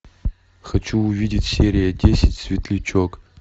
хочу увидеть серия десять светлячок